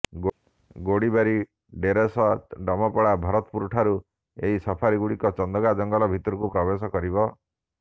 ଗୋଡ଼ିବାରି ଡେରାସ ଡମପଡ଼ା ଭରତପୁରଠାରୁ ଏହି ସଫାରିଗୁଡ଼ିକ ଚନ୍ଦକା ଜଙ୍ଗଲ ଭିତରକୁ ପ୍ରବେଶ କରିବ